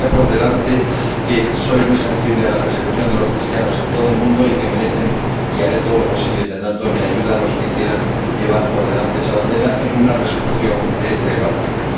Vaya por delante que soy muy sensible a la persecución de los cristianos en todo el mundo y que merecen y haré todo lo posible y tendrán toda mi ayuda los que quieran llevar por delante esa bandera en una Resolución de este Parlamento.